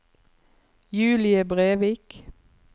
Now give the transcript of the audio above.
Julie Brevik